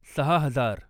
सहा हजार